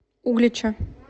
углича